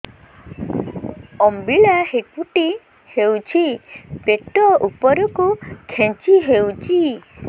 ଅମ୍ବିଳା ହେକୁଟୀ ହେଉଛି ପେଟ ଉପରକୁ ଖେଞ୍ଚି ହଉଚି